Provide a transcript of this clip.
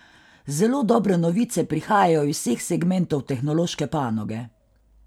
Zelo dobre novice prihajajo iz vseh segmentov tehnološke panoge.